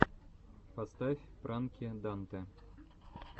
поставь пранки дантэ